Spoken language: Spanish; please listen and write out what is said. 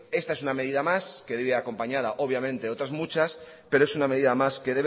esta es una medida más que debe ir acompañada obviamente de otras muchas pero es una medida más que